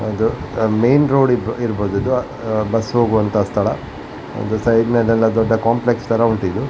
ಅದು main road ಇರ್ಬಹುದು ಇದು ಬಸ್ ಹೋಗುವಂಥ ಸ್ಥಳ ಒಂದು ಸೈಡ್ ಮೇಲೆ ಎಲ್ಲ ದೊಡ್ಡ ಕಾಂಪ್ಲೆಕ್ಸ್ ತರ ಉಂಟಿದು.